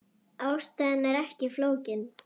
Ástæðan ekki flókin.